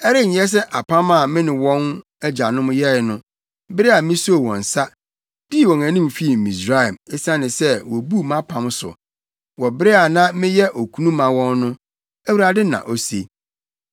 Ɛrenyɛ sɛ apam a me ne wɔn agyanom yɛe no bere a misoo wɔn nsa, dii wɔn anim fii Misraim, esiane sɛ wobuu mʼapam so, wɔ bere a na meyɛ okunu ma wɔn no,” Awurade na ose.